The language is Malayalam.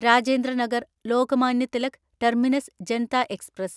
Rajendra Nagar Lokmanya Tilak terminus Janta express